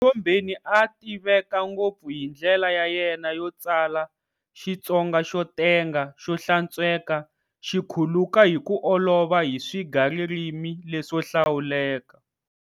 Mthombeni a a tiveka ngopfu hi ndlela ya yena yo tsala"Xitsonga xo tenga, xo hlantsweka, xi khuluka hi ku olova hi swigaririmi leswo hlawuleka".